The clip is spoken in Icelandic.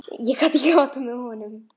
Ég gat ekki áttað mig á honum.